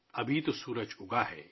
ابھی تو سورج اُگا ہے